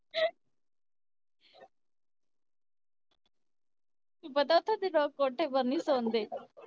ਪਤਾ ਉਥੇ ਦੇ ਲੋਕ ਕੋਠੇ ਪਰ ਨੀ ਸੋਂਦੇ